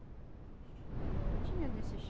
Mas não tinha desses.